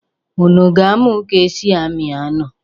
Unu ga-amụ ka e si amị anụ?